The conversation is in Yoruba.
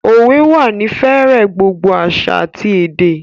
Òwe wà ní fẹ̀rẹ̀ gbogbo àṣà àti èdè